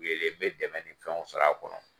n bɛ dɛmɛni kanw sɔrɔ a kɔnɔ.